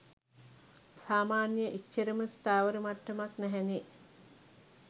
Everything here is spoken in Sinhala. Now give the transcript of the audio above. සාමාන්‍ය එච්චරම ස්ථාවර මට්ටමක් නැහැනේ.